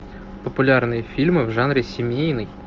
популярные фильмы в жанре семейный